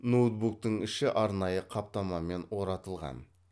ноутбуктың іші арнайы қаптамамен оратылған